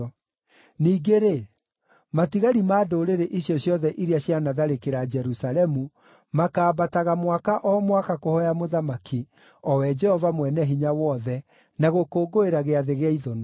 Ningĩ-rĩ, matigari ma ndũrĩrĩ icio ciothe iria cianatharĩkĩra Jerusalemu makaambataga mwaka o mwaka kũhooya Mũthamaki, o we Jehova Mwene-Hinya-Wothe, na gũkũngũĩra Gĩathĩ gĩa Ithũnũ.